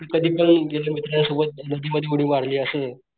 कधी पण गेलं मित्रांसोबत नदीमध्ये उडी मारली असं.